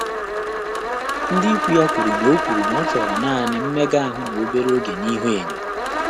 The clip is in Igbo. Ndị́ íkwú yá kwùrù nà ọ́ kwùrù nà ọ́ chọ́rọ̀ nāànị́ mméga áhụ́ nà óbèré ògé íhúényó.